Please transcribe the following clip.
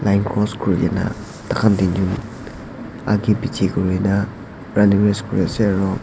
line cross kurikena thakhan tinjun agae peche kurikena running race kure ase aro--